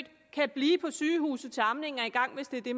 kan blive på sygehuset til amningen er i gang hvis det er det